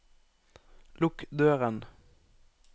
lukk døren